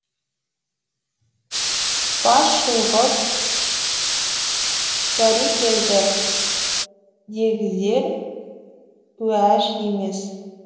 бас шұлғып бәрекелді дегізер уәж емес